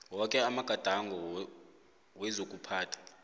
woke amagadango wezokuphatha